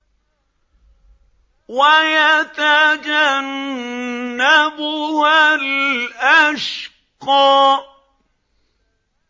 وَيَتَجَنَّبُهَا الْأَشْقَى